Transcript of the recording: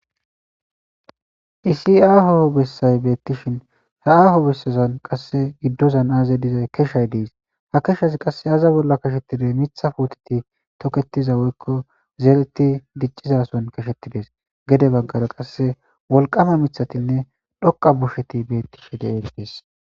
isi aaho bessay beettishin he aaho bessazan qasse giddozan aaza dizay keshay dees ha keshas qasse aza bolla kashettiday mitha puteti toketiza woykko zeereti diccizason kashettides gede baggara qasse wolqama mithatinne dhoqa busheti beettishe geen dees